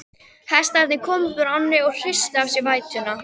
Hestarnir komu upp úr ánni og hristu af sér vætuna.